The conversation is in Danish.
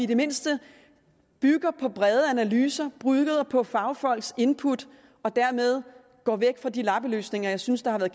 det mindste bygger på brede analyser og på fagfolks input og dermed går væk fra de lappeløsninger jeg synes har